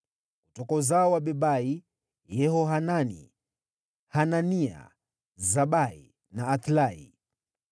Kutoka uzao wa Bebai: Yehohanani, Hanania, Zabai na Athlai.